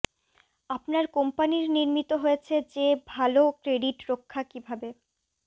আপনার কোম্পানীর নির্মিত হয়েছে যে ভাল ক্রেডিট রক্ষা কিভাবে